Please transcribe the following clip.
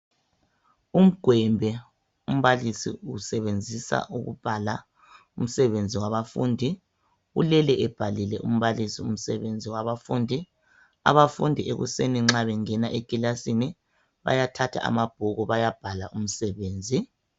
uMgwembe umbalisi usebenzisa ukubala umsebenzi wabafundi ulele ebhalile umbalisi umsebenzi wabafundi abafundi ekuseni nxa bengena ekilasini bayathatha amabhuku bayabhala umsebenzi.